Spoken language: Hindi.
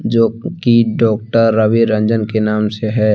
जो कि डॉक्टर रवि रंजन के नाम से है।